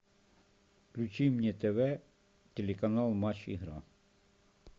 включи мне тв телеканал матч игра